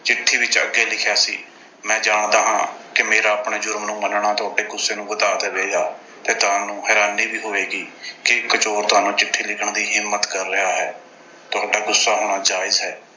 ਚਿੱਠੀ ਵਿੱਚ ਅੱਗੇ ਲਿਖਿਆ ਸੀ, ਮੈਂ ਜਾਣਦਾ ਹਾਂ ਕਿ ਮੇਰਾ ਆਪਣੇ ਜ਼ੁਰਮ ਨੂੰ ਮੰਨਣਾ, ਤੁਹਾਡੇ ਗੁੱਸੇ ਨੂੰ ਵਧਾ ਦੇਵੇਗਾ ਤੇ ਤੁਹਾਨੂੰ ਹੈਰਾਨੀ ਵੀ ਹੋਵੇਗੀ ਕਿ ਇੱਕ ਚੋਰ ਤੁਹਾਨੂੰ ਚਿੱਠੀ ਲਿਖਣ ਦੀ ਹਿੰਮਤ ਕਰ ਰਿਹਾ ਹੈ। ਤੁਹਾਡਾ ਗੁੱਸਾ ਹੋਣਾ ਜਾਇਜ਼ ਹੈ।